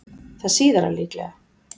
Það síðara líklegra.